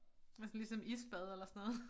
Nåh sådan ligesom isbad eller sådan noget